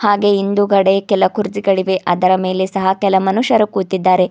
ಹಾಗೆ ಹಿಂದುಗಡೆ ಕೆಲ ಕುರ್ಚಿಗಳಿವೆ ಅದರ ಮೇಲೆ ಸಹ ಕೆಲ್ ಮನುಷ್ಯರು ಕೂತಿದ್ದಾರೆ.